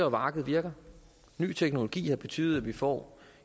at markedet virker ny teknologi har betydet at vi får